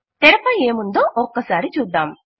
తెరపై ఏముందో ఒకసారి చూద్దాం